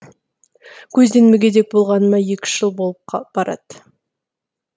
көзден мүгедек болғаныма екі үш жыл болып барады